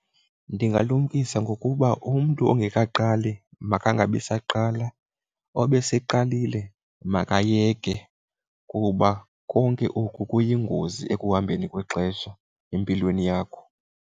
Ndingabalumkisa ngokuba umntu ongekaqali makangabi saqala, obeseyeqalile makayeke kuba konke oku kuyingozi ekuhambeni kwexesha empilweni yakho.